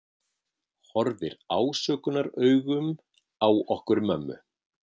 Horfir ásökunaraugum á okkur mömmu.